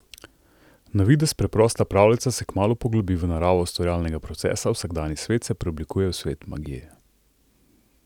Na videz preprosta pravljica se kmalu poglobi v naravo ustvarjalnega procesa, vsakdanji svet se preoblikuje v svet magije.